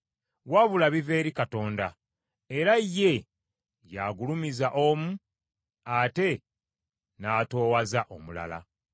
wabula biva eri Katonda; era ye y’agulumiza omu ate n’atoowaza omulala.